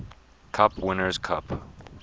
cup winners cup